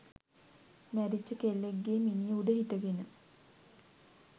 මැරිච්ච කෙල්ලෙක්ගේ මිනිය උඩ හිටගෙන